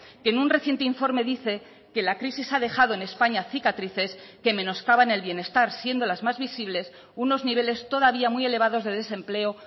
que en un reciente informe dice que la crisis ha dejado en españa cicatrices que menoscaban el bienestar siendo las más visibles unos niveles todavía muy elevados de desempleo